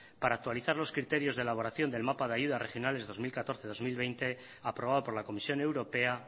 para actualizar los criterios de elaboración del mapa de ayudas regionales dos mil catorce dos mil veinte aprobado por la comisión europea